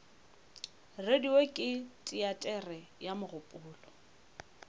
radio ke teatere ya mogopolo